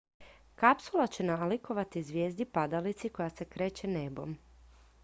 kapsula će nalikovati zvijezdi padalici koja se kreće nebom